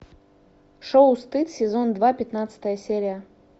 шоу стыд сезон два пятнадцатая серия